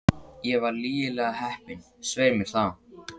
Ég var lygilega heppin, svei mér þá.